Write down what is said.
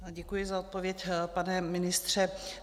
Děkuji za odpověď, pane ministře.